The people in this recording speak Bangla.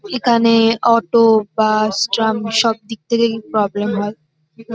এখানে-এএএএ অটো বাস ট্রাম সবদিক থেকেই প্রবলেম হয়।